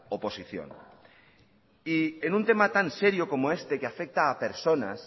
oposición y en un tema tan serio como este que afecta a personas